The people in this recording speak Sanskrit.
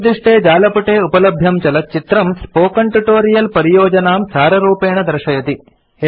अधोनिर्दिष्टे जालपुटे उपलभ्यं चलच्चित्रम् स्पोकेन ट्यूटोरियल् परियोजनां साररूपेण दर्शयति